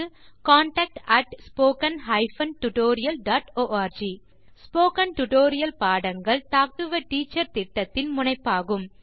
contact at spoken hyphen tutorial dot org spoken tutorial பாடங்கள் talk to a teacher திட்டத்தின் முனைப்பாகும்